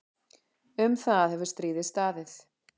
Um það hefur stríðið staðið.